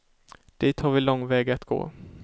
Dit har vi lång väg att gå.